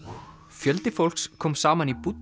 fjöldi fólks kom saman í